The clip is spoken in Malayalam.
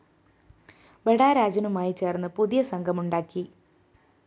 ബഡാ രാജനുമായി ചേര്‍ന്ന് പുതിയ സംഘം ഉണ്ടാക്കി